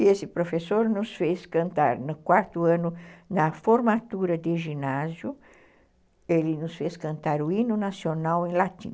E esse professor nos fez cantar, no quarto ano, na formatura de ginásio, ele nos fez cantar o hino nacional em latim.